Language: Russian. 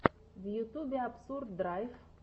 в ютьюбе абсурд драйв